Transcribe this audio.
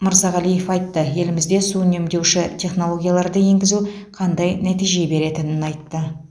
мырзағалиев айтты елімізде су үнемдеуші технологияларды енгізу қандай нәтиже беретінін айтты